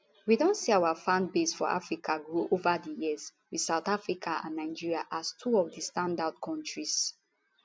we don see our fanbase for africa grow ova di years wit south africa and nigeria as two of di standout kontris